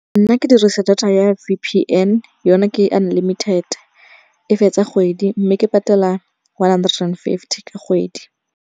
Nna ke dirisa data ya V_P_N yona ke unlimited. E fetsa kgwedi, mme ke patela one hundered and fifty ka kgwedi.